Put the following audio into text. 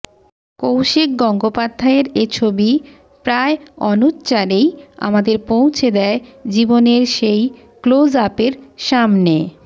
কৌশিক গঙ্গোপাধ্যায়ের এ ছবি প্রায় অনুচ্চারেই আমাদের পৌঁছে দেয় জীবনের সেই ক্লোজ আপের সামনে